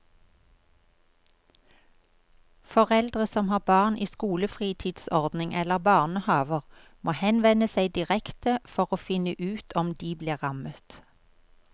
Foreldre som har barn i skolefritidsordning eller barnehaver må henvende seg direkte for å finne ut om de blir rammet.